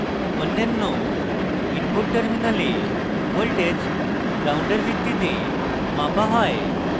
অন্যান্য input terminals voltage ground ভিত্তিতে মাপা হয়